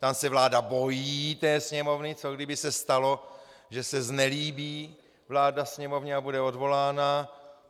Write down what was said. Tam se vláda bojí té sněmovny - co kdyby se stalo, že se znelíbí vláda sněmovně a bude odvolána.